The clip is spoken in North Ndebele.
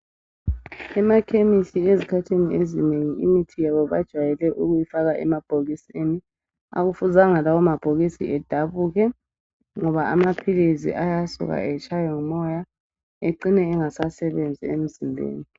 Emakhemisi ezikhathini ezinengi imithi yabo bajwayele ukuyifaka emabhokisini. Akufuzanga lawa mabhokisi edabuke ngoba amaphilizi ayasuka atshaywe ngumoya ecine engasasebenzi emzimbeni .